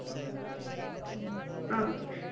ಹ್ಮ ಆ.